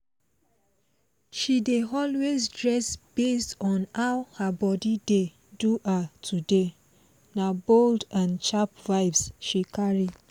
she dey always dress based on how her body dey do her today na bold and sharp vibes she carry